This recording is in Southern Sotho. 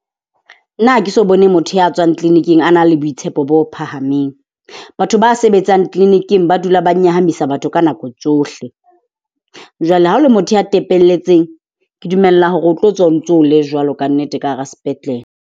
Nna hake so bone motho ya tswang clinic-ing a na le boitshepo bo phahameng. Batho ba sebetsang clinic-ing ba dula ba nyahamisa batho ka nako tsohle. Jwale ha o le motho ya tepelletseng, ke dumella hore o tlo tswa o ntso le jwalo kannete ka hara sepetlele.